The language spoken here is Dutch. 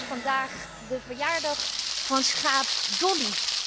Het is vandaag de verjaardag van schaap Dolly.